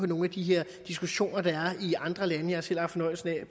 nogle af de her diskussioner der er i andre lande jeg har selv haft fornøjelsen af